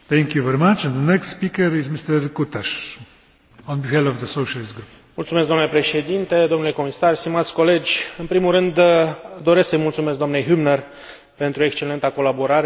În primul rând, doresc să i mulțumesc dnei Hübner pentru excelenta colaborare, precum și pentru disponibilitatea sa de a include în amendamentele de compromis completările pe care le am propus la acest raport.